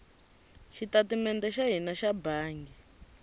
xitatimede xa hina xa bangi